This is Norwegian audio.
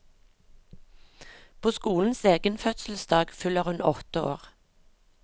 På skolens egen fødselsdag fyller hun åtte år.